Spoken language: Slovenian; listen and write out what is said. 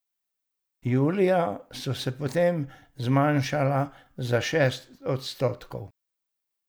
Julija so se potem zmanjšala za šest odstotkov.